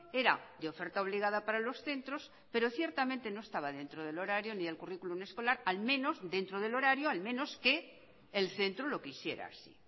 era de oferta obligada para los centros pero ciertamente no estaba dentro del horario ni el currículum escolar al menos dentro del horario al menos que el centro lo quisiera así